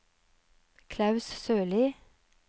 Klaus Sørlie